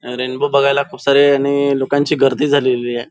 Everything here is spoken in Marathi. रेनबो बघायला खूप साऱ्या लोकांची गर्दी झालेली आहे.